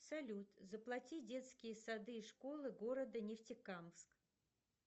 салют заплати детские сады и школы города нефтекамск